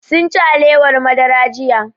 Sunci alewar madara jiya